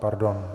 Pardon.